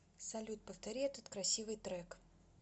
салют повтори этот красивый трек